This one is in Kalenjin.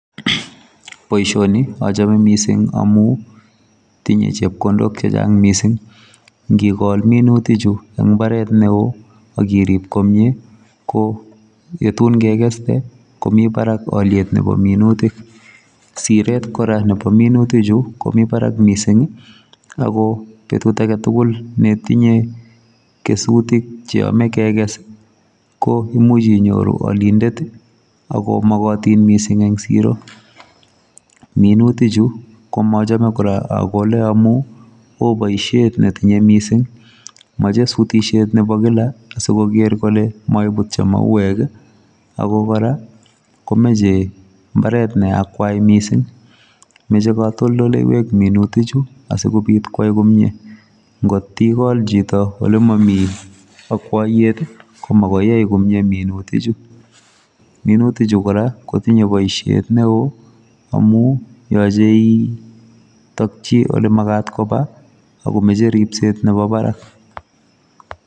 Boishoni achome misinng amu tinye chepkondok chechang mising. Nkikol minutichu eng mbaret neo akirip komie ko yetun kekeste komi barak alyet nepo minutik. Siret kora nepo minutichu komi barak mising ako petut aketukul netinye kesutik cheyome kekes, ko imuch inyoru alindet, ako mokotin mising eng siro. Minutichu ko mochome kora akole amu oboishet netinye mising, moche sutishet nepo kila, asikoker kole moiputyo mauek, ako kora komeche mbaret neakwai mising, meche katoldoleiwek minutichu asikobit kwai komie. Nkot ikol chito olemomi akwoiyet, ko makoyai komie minutichu. Minutichu kora, kotinye poishet neo, amu yoche itokchi olemakat kopa, akomeche ripset nepo barak.